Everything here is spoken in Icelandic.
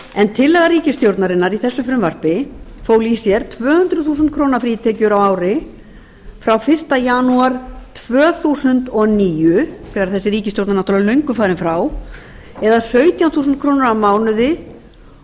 tillaga ríkisstjórnarinnar í þessu frumvarpi fól í sér tvö hundruð þúsund krónur frítekjur á ári frá fyrsta janúar tvö þúsund og níu þegar þessi ríkisstjórn er náttúrlega löngu farin frá eða um sautján þúsund krónur á mánuði og svo tuttugu